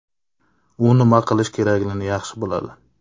U nima qilish kerakligini yaxshi biladi.